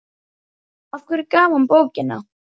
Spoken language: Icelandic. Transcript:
Af hverju gaf hann bókina?